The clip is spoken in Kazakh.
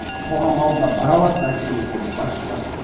қоғам алдына бара алатын әкімдер керек басшылар